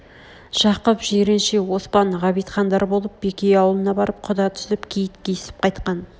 жақып жиренше оспан ғабитхандар болып бекей аулына барып құда түсп киіт киісп қайтқан